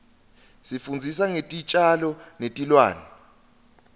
isifundzisa ngetitjalo netilwane